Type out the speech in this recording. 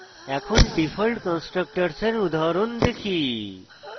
এখন ডিফল্ট কন্সট্রাকটরসের উদাহরণ দেখি